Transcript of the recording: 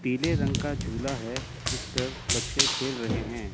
पीले रंग का झूला है जिस पे बच्चे खेल रहे हैं।